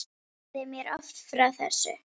Hún sagði mér oft frá þessu.